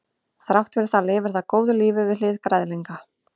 þrátt fyrir það lifir það góðu lífi við hlið græðlinga